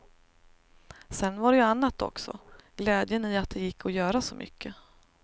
Sedan var det ju annat också, glädjen i att det gick att göra så mycket.